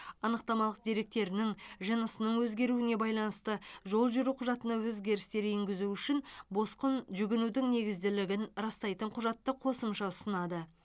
анықтамалық деректерінің жынысының өзгеруіне байланысты жол жүру құжатына өзгерістер енгізу үшін босқын жүгінудің негізділігін растайтын құжатты қосымша ұсынады